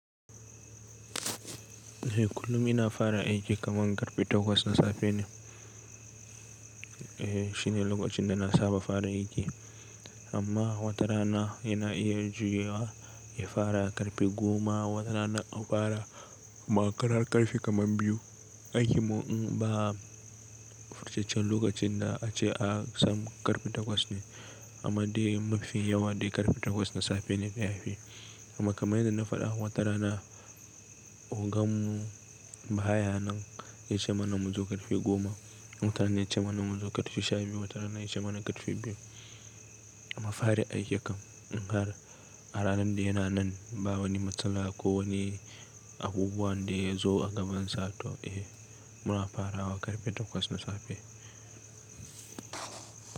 Kullum ina fara aiki kaman karfe takwas na safe ne. Eh shine lokacin da na saba fara aiki amma watarana yana iya juyawa ya fara karfe goma, watarana a fara makarar karfe kaman biyu. Aiki mu in ba furcecen lokacin da ace an san karfe takwas ne amma dai mafi yawa dai karfe takwas na safe ne na yafi. Amma kamar yadda na faɗa watarana ogan mu baya nan ya ce mana mu zo karfe goma, watarana ya ce mana mu zo karfe sha biyu, watarana ya ce mana karfe biyu. Amma fara aiki kam in har a ranan da yana nan ba wani matsala ko wani abubuwan da ya zo a gabansa to eh muna fara wa karfe takwas na safe.